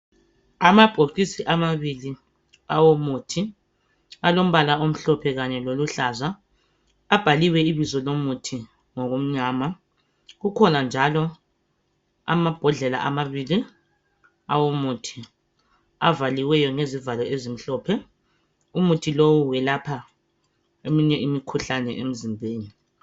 Amabhokisi amabili awomuthi alombala omhlophe kanye loluhlaza. Abhaliwe ibizo lomuthi ngokumnyama. Kukhona njalo amabhodlela amabili awomuthi avaliweyo ngezivalo ezimhlophe umuthi lowu welapha eminye imikhuhlane emzimbeni.